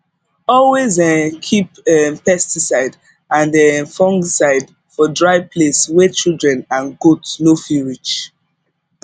always um keep um pesticide and um fungicide for dry place wey children and goat no fit reach